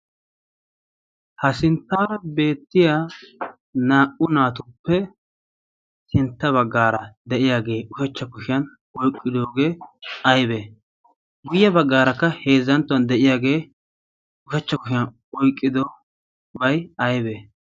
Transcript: Ha sinttaara beettiya naa"u naatuppe sintta baggaara de'iyaagee ushachcha kushiyan oyqqidoogee aybee guyya baggaarakka heezzanttuwan de'iyaagee ushachcha kushiyan oiqqido bay aybee?